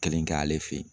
Kelen kɛ ale fe yen